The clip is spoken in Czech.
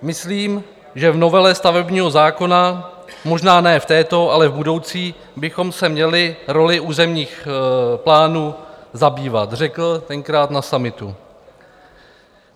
"Myslím, že v novele stavebního zákona - možná ne v této, ale v budoucí - bychom se měli rolí územních plánů zabývat," řekl tenkrát na summitu.